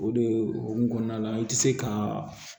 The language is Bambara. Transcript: O de o kun kɔnɔna la i tɛ se ka